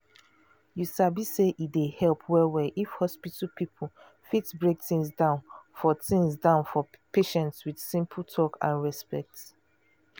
you sabi say e dey help well-well if hospital people fit break things down for things down for patient with simple talk and respect.